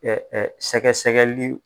sɛgɛsɛgɛli